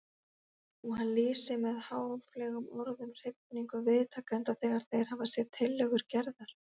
Og hann lýsir með háfleygum orðum hrifningu viðtakenda þegar þeir hafa séð tillögur Gerðar.